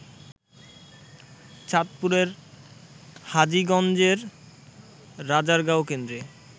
চাঁদপুরের হাজীগঞ্জের রাজারগাঁও কেন্দ্রে